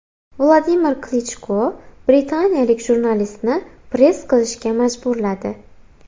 Vladimir Klichko britaniyalik jurnalistni press qilishga majburladi .